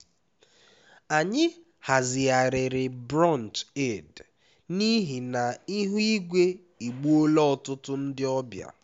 anyị hazigharịrị brunch eid n'ihi na ihu igwe egbuola ọtụtụ ndị ọbịa